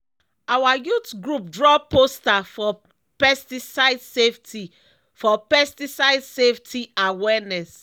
our youth group draw poster for pesticide safety for pesticide safety awareness.